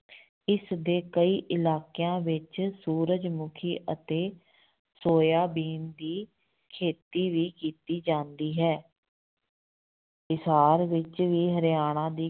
ਇਸਦੇ ਕਈ ਇਲਾਕਿਆਂ ਵਿੱਚ ਸੂਰਜ ਮੁੱਖੀ ਅਤੇ ਸੋਇਆ ਬੀਨ ਦੀ ਖੇਤੀ ਵੀ ਕੀਤੀ ਜਾਂਦੀ ਹੈ ਇਸਾਰ ਵਿੱਚ ਵੀ ਹਰਿਆਣਾ ਦੀ